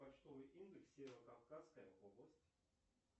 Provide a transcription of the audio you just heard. почтовый индекс северо кавказская область